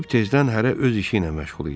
Sübh tezdən hərə öz işi ilə məşğul idi.